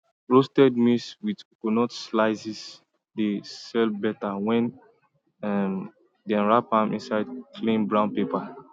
roasted maize with coconut slices dey sell better when dem wrap am inside clean brown paper